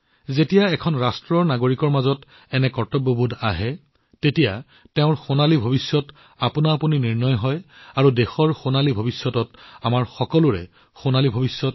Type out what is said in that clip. যেতিয়া এখন ৰাষ্ট্ৰৰ নাগৰিকৰ মাজত এনে কৰ্তব্যবোধ বৃদ্ধি পায় ইয়াৰ সোণালী ভৱিষ্যত স্বয়ংক্ৰিয়ভাৱে নিশ্চিত হয় আৰু দেশৰ সোণালী ভৱিষ্যত স্বয়ং আমাৰ সকলোৰে বাবে এক সোণালী ভৱিষ্যত